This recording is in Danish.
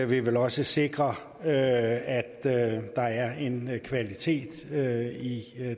vil vel også sikre at der er en kvalitet i